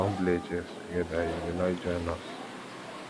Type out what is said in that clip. we wan play chess togeda you go like join us